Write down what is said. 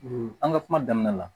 an ka kuma daminɛ la